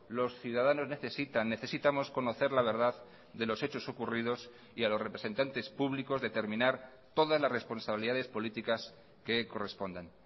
los ciudadanos necesitan necesitamos conocer la verdad de los hechos ocurridos y a los representantes públicos determinar todas las responsabilidades políticas que correspondan